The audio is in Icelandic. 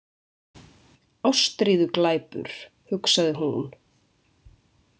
Ástríðuglæpur, hugsaði hún.